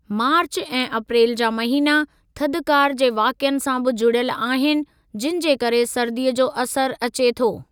मार्च ऐं अप्रेल जा महीना थधिकार जे वाक़िअनि सां बि जुड़ियल आहिनि जिनि जे करे सर्दीअ जो असरु अचे थो।